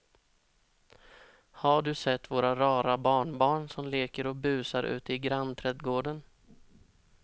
Har du sett våra rara barnbarn som leker och busar ute i grannträdgården!